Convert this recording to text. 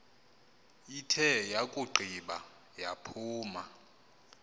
ithe yakugqiba yaphuma